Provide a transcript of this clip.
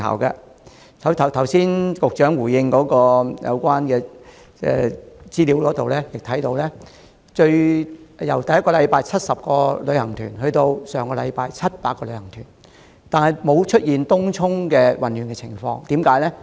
局長剛才作答時所提供的資料顯示，雖然旅行團數目由首星期的70個增至上星期的700個，但東涌的混亂情況並沒有重演。